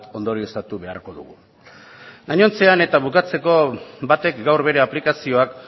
ondorioztatu beharko dugu gainontzean eta bukatzeko batek gaur bere aplikazioak